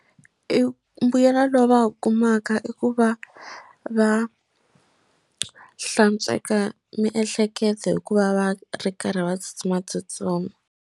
I mbuyelo lowu va wu kumaka i ku va va hlantsweka miehleketo hikuva va ri karhi va tsutsumatsutsuma.